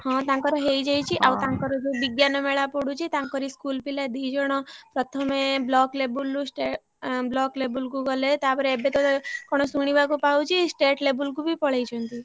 ହଁ ତାଙ୍କର ହେଇଯାଇଛି ଆଉ ତାଙ୍କର ଯୋଉ ବିଜ୍ଞାନମେଳା ପଡୁଛି ତାଙ୍କରି school ପିଲା ଦି ଜଣ ପ୍ରଥମେ block level ରୁ block level କୁ ଗଲେ ତାପରେ ଏବେ ତ କଣ ଶୁଣିବାକୁ ପାଉଛି state level କୁ ବି ପଳେଇଛନ୍ତି।